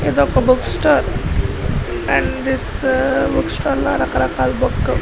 ఇదొక book store and this book store లో రకరకాల బుక్ --